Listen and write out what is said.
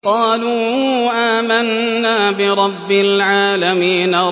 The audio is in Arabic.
قَالُوا آمَنَّا بِرَبِّ الْعَالَمِينَ